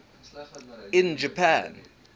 in japan